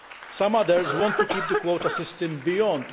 Some others want to keep the quota system beyond